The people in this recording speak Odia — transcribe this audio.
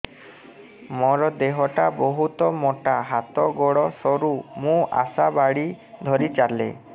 ମୋର ଦେହ ଟା ବହୁତ ମୋଟା ହାତ ଗୋଡ଼ ସରୁ ମୁ ଆଶା ବାଡ଼ି ଧରି ଚାଲେ